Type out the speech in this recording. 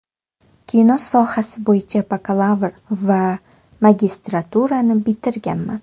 Kino sohasi bo‘yicha bakalavr va magistraturani bitirganman.